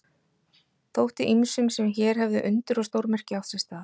Þótti ýmsum sem hér hefðu undur og stórmerki átt sér stað.